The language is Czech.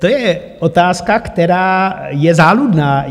To je otázka, která je záludná.